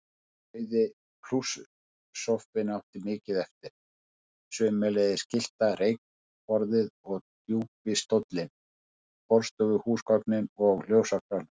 Rauði plusssófinn átti mikið eftir, sömuleiðis gyllta reykborðið og djúpi stóllinn, borðstofuhúsgögnin og ljósakrónan.